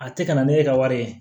A tɛ ka na ne ka wari ye